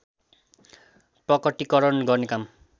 प्रकटिकरण गर्ने काम